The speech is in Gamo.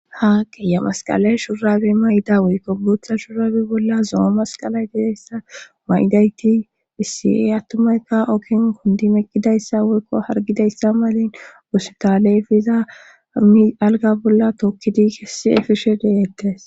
Haa qiya masqala shurabe mayda woykko buutha shurabe bolla zoo masqala gidayssa maydayti phisiey attumaykka ookin kundi meqqidayssa woykko hargidayssa malin wosutalefiza ami alga bolla tookkidi kessi7e fishe deeettes.